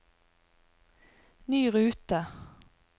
ny rute